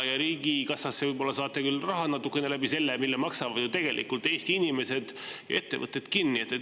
Riigikassasse võib-olla saate küll natukene raha, kuna tegelikult maksavad Eesti inimesed ja ettevõtted palju kinni.